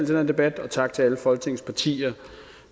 denne debat og tak til alle folketingets partier